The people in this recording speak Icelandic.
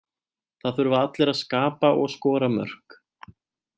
Það þurfa allir að skapa og skora mörk.